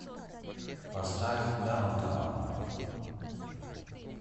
поставь даунтаун